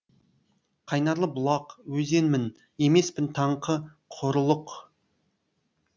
қайнарлы бұлақ өзенмін емеспін таңқы құрылық